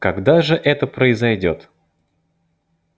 когда же это произойдёт